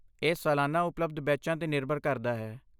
ਇਹ ਸਾਲਾਨਾ ਉਪਲਬਧ ਬੈਚਾਂ 'ਤੇ ਨਿਰਭਰ ਕਰਦਾ ਹੈ।